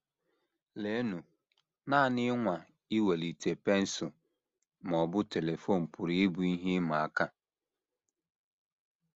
Leenụ, nanị ịnwa iwelite pensụl ma ọ bụ telifon pụrụ ịbụ ihe ịma aka!